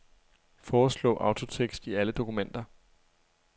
Foreslå autotekst i alle dokumenter.